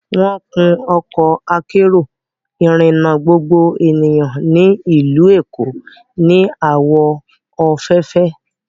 Wọ́n kun Ọkọ akérò ìrìnà gbogbo ènìyàn ní ìlú Èkó ní àwọ̀ òféèfé